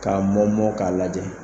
K'a mɔ mɔ k'a lajɛ.